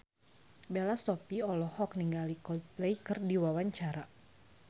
Bella Shofie olohok ningali Coldplay keur diwawancara